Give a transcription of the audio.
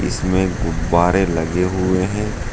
Gym में गुब्बारे लगे हुए हैं।